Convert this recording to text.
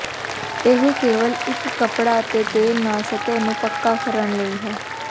ਇਹ ਕੇਵਲ ਇੱਕ ਕੱਪੜਾ ਅਤੇ ਤੇਲ ਨਾਲ ਸਤਹ ਨੂੰ ਪੱਕਾ ਕਰਨ ਲਈ ਹੈ